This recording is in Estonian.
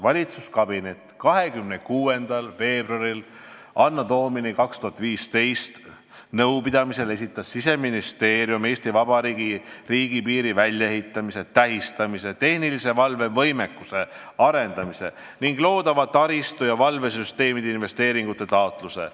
Valitsuskabineti 26. veebruari anno Domini 2015 nõupidamisele esitas Siseministeerium Eesti Vabariigi riigipiiri väljaehitamise, tähistamise, tehnilise valve võimekuse arendamise ning loodava taristu ja valvesüsteemide investeeringute taotluse.